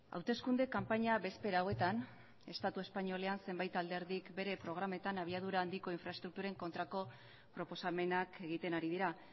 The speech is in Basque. hauteskunde kanpaina bezpera hauetan estatu espainolean zenbait alderdik bere programetan abiadura handiko infraestrukturen kontrako proposamenak egiten ari dira